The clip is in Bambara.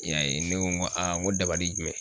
I y'a ye ne ko n ko n ko dabali jumɛn